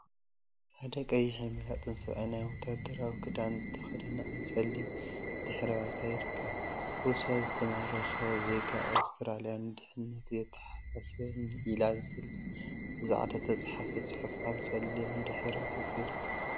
ሓደ ቀይሕን መላጥን ሰብአይ ናይ ወታደራዊ ክዳን ዝተከደነ አብ ፀሊም ድሕረ ባይታ ይርከብ፡፡ ብሩስያ ዝተማረከ ዜጋ አውስትራልያ ድሕንነቱ የተሓሳስበኒ ኢላ ዝብል ብፃዕዳ ዝተፀሓፈ ፅሑፍ አብ ፀሊም ድሕረ ገፅ ይርከብ፡፡